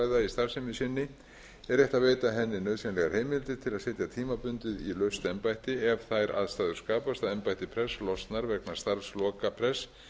starfsemi sinni er rétt að veita henni nauðsynlegar heimildir til að setja tímabundið í laust embætti ef þær aðstæður skapast að embætti prests losnar vegna starfsloka prests